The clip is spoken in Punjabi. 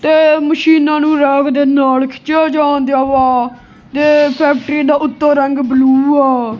ਮਸ਼ੀਨਾਂ ਨੂੰ ਰੈਕ ਦੇ ਨਾਲ ਖਿੱਚਿਆ ਜਾਣ ਦਿਆ ਵਾ ਤੇ ਫੈਕਟਰੀ ਦਾ ਉੱਤੋਂ ਰੰਗ ਬਲੂ ਆ।